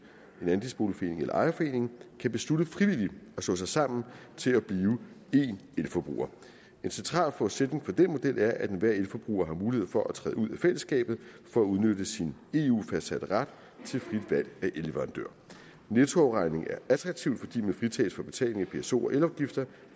en andelsboligforening eller en ejerforening frivilligt kan slå sig sammen til at blive én elforbruger en central forudsætning for den model er at enhver elforbruger har mulighed for at træde ud af fællesskabet for at udnytte sin eu fastsatte ret til frit valg af elleverandør nettoafregning er attraktivt fordi man fritages for betaling af pso afgift og elafgifter